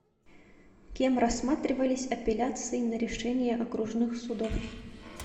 кем рассматривались апелляции на решения окружных судов